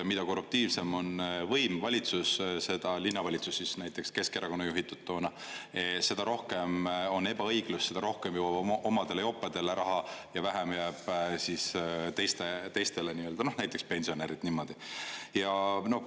Mida korruptiivsem on võim, valitsus, linnavalitsus, näiteks Keskerakonna juhitud toona, seda rohkem on ebaõiglust, seda rohkem jõuab omadele jopedele raha ja vähem jääb teistele, näiteks pensionäridele.